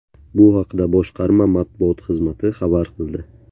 Bu haqda boshqarma matbuot xizmati xabar qildi .